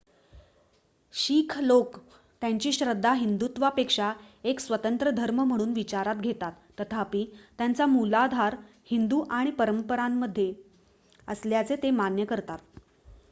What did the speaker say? शीख लोक त्यांची श्रद्धा हिंदुत्वापेक्षा एक स्वतंत्र धर्म म्हणून विचारात घेतात तथापि त्याचा मूलाधार हिंदू आणि परंपरांमध्ये असल्याचे ते मान्य करतात